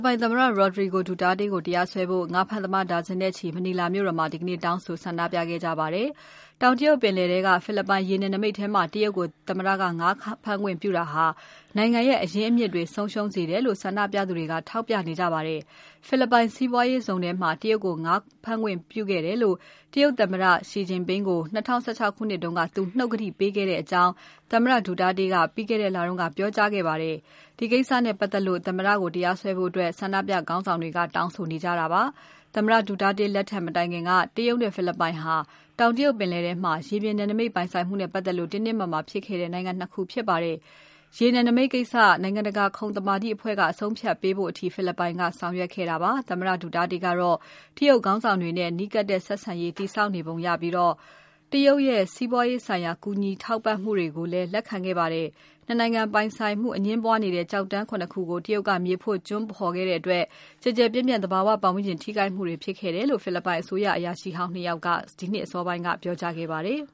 ပိုင်သမ္မတ Rodrigo Duterte ကို တရားစွဲဖို့ ငါးဖမ်းသမား ဒါဇင်နဲ့ချီ Manila မြို့တော်မှာ ဒီကနေ့ တောင်းဆိုဆန္ဒပြခဲ့ကြပါတယ်။ တောင်တရုတ်ပင်လယ်ထဲက ဖိလစ်ပိုင်ရေနယ်နိမိတ်ထဲမှာ တရုတ်ကို သမ္မတက ငါးဖမ်းခွင့်ပြုတာဟာ နိုင်ငံရဲ့ အရင်းအမြစ်တွေ ဆုံးရှုံးစေတယ်လို့ ဆန္ဒပြသူတွေက ထောက်ပြနေကြပါတယ်။ ဖိလစ်ပိုင်စီးပွားရေးဇုန်ထဲမှာ တရုတ်ကို ငါးဖမ်းခွင့်ပြုတယ်လို့ တရုတ်သမ္မတ Xi Jinping ကို ၂၀၁၆ ခုနှစ်က သူနှုတ်ကတိပေးခဲ့တယ်လို့ သမ္မတ Duterte က ပြီးခဲ့တဲ့ လ မှာ ပြောကြားခဲ့ပါတယ်။ ဒီကိစ္စနဲ့ ပတ်သက်လို့ သမ္မတ Duterte ကို တရားစွဲဖွဲ့ ဆန္ဒပြခေါင်းဆောင်တွေက တောင်းဆိုနေကြတာပါ။ သမ္မတ Duterte လက်ထက် မတိုင်ခင်က တရုတ်နဲ့ ဖိလစ်ပိုင်ဟာ တောင်တရုတ်ပင်လယ်ထဲမှာ ရေပြင်နယ်နိမိတ် ပိုင်ဆိုင်မှုနဲ့ ပတ်သက်လို့ တင်းတင်းမာမာဖြစ်ခဲ့တဲ့ နိုင်ငံ နှစ် ခု ဖြစ်ပါတယ်။ ရေနယ်နိမိတ်ကိစ္စ နိုင်ငံတကာခုံသမာဓိအဖွဲ့က အဆုံးအဖြတ်ပေးဖို့အထိ ဖိလစ်ပိုင်က ဆောင်ရွက်ခဲ့တာပါ။ သမ္မတ Duterte ကတော့ တရုတ်ခေါင်းဆောင်တွေနဲ့ နီးကပ်တဲ့ ဆက်ဆံရေး တည်ဆောက်နေပုံရပြီး တရုတ်ရဲ့ စီးပွားရေးဆိုင်ရာ ကူညီထောက်ပံ့မှုတွေကိုလည်း လက်ခံခဲ့ပါတယ်။ နှစ် နိုင်ငံပိုင်ဆိုင်မှု အငြင်းပွားနေတဲ့ ကျောက်တန်း ခုနစ် ခုကို တရုတ်က မြေဖို့ ကျွန်းဖော်ခဲ့တဲ့အတွက် ကျယ်ကျယ်ပြန့်ပြန့် သဘာဝပတ်ဝန်းကျင် ထိခိုက်မှုတွေ ဖြစ်ခဲ့တယ်လို့ ဖိလစ်ပိုင်အစိုးရအရာရှိဟောင်း ၂ ခုက ဒီနှစ်အစောပိုင်းက ပြောကြားခဲ့ပါတယ်။